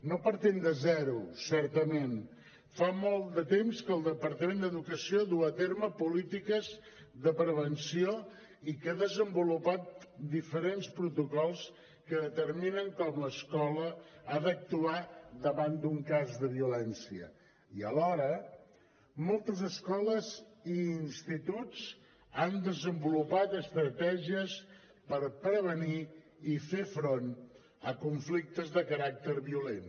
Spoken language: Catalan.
no partim de zero certament fa molt de temps que el departament d’educació du a terme polítiques de prevenció i que ha desenvolupat diferents protocols que determinen com l’escola ha d’actuar davant d’un cas de violència i alhora moltes escoles i instituts han desenvolupat estratègies per prevenir i fer front a conflictes de caràcter violent